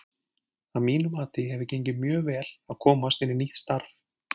Að mínu mati hefur gengið mjög vel að komast inn í nýtt starf.